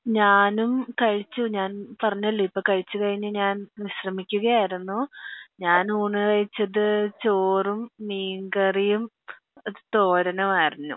ഞാനും കഴിച്ചു ഞാൻ പറഞ്ഞല്ലോ ഇപ്പൊ കഴിച്ചു കഴിഞ്ഞു ഞാൻ വിശ്രമിക്കുകയായിരുന്നു ഞാൻ ഊണ് കഴിച്ചത് ചോറും മീൻ കറിയും തോരനുമായിരുന്നു